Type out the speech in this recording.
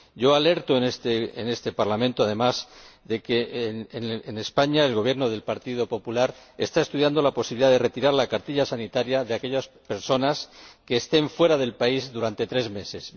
Yo alerto de ello en este Parlamento, además de que, en España, el Gobierno del Partido Popular está estudiando la posibilidad de retirar la cartilla sanitaria de aquellas personas que estén fuera del país durante tres meses.